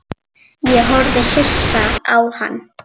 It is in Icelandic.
Ég horfði hissa á hann.